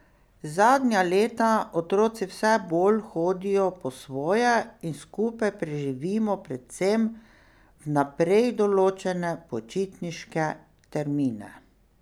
Zadnja leta otroci vse bolj hodijo po svoje in skupaj preživimo predvsem vnaprej določene počitniške termine.